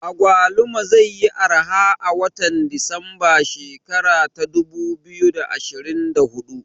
Agwaluma zai yi arha a watan desemba shekara ta dubu biyu da ashirin da hudu